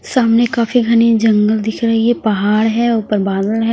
सामने काफी घनी जंगल दिख रही है पहाड़ है ऊपर बादल है।